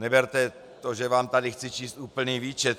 Neberte to, že vám tady chci číst úplný výčet.